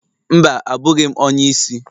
Mba, abụghị m onye isi.